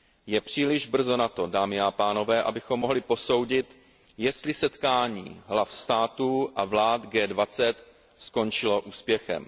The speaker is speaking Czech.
Je příliš brzo na to, dámy a pánové, abychom mohli posoudit, jestli setkání hlav států a vlád G20 skončilo úspěchem.